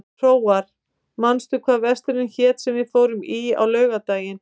Hróar, manstu hvað verslunin hét sem við fórum í á laugardaginn?